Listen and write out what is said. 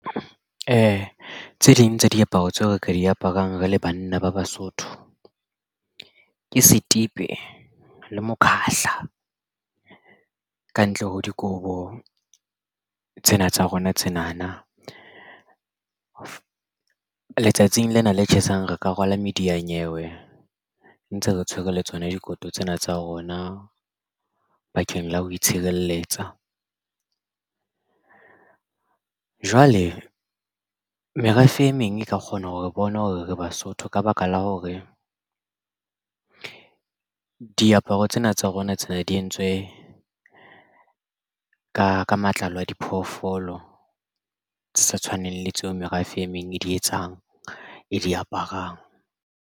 Tse ding tsa diaparo tseo re ka di aparang re le banna ba Basotho ke setipe le mokgahla kantle ho dikobo tsena tsa rona tsena na letsatsing lena le tjhesang re ka rwala medianyewe ntse re tshwere le tsona dikoto tsena tsa rona bakeng la ho itshireletsa. Jwale merafe e meng e ka kgona hore re bone hore re Basotho ka baka la hore diaparo tsena tsa rona na tsena di entswe ka matlalo a diphoofolo tse sa tshwaneng le tseo merafe emeng e di etsang e di aparang.